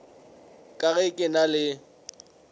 ka ge ke na le